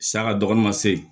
Saga dɔgɔnin ma se yen